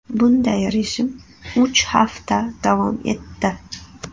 Bunday rejim uch hafta davom etdi.